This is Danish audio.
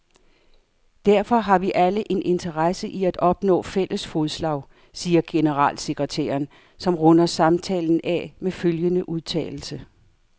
Derfor har vi alle en interesse i at opnå fælles fodslag, siger generalsekretæren, som runder samtalen af med følgende udtalelse.